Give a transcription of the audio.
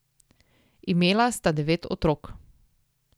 Imela sta devet otrok.